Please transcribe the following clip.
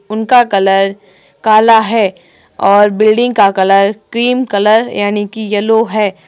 उनका कलर काला है और बिल्डिंग का कलर क्रीम कलर यानी कि येलो है।